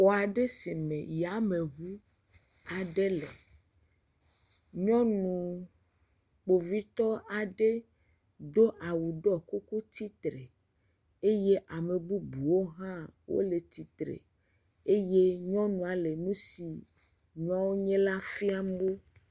Xɔ aɖe si me yameŋu aɖe le. Nyɔnu Kpovitɔ aɖe do awu ɖɔ kuku tsi tre. Eye ame bubuwo hã wole tsi tre. Eye nyɔnua le nu si nua nye la fiam wo.